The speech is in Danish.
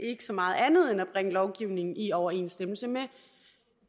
så meget andet end at bringe lovgivningen i overensstemmelse med